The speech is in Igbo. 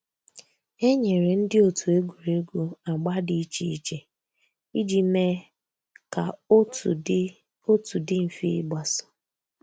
É nyéré ndị́ ótú ègwùrégwú àgbà dị́ ìchè ìchè ìjì méé kà otu dị́ otu dị́ m̀fè ígbàsó.